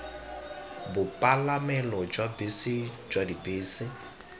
bopalamelo jwa bese jwa dibese